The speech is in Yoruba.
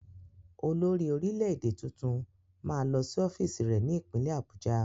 Olórí-orílẹ̀-èdè tuntun máa lọ sí ọ́fíìsì rẹ ní ìpínlẹ̀ Abuja.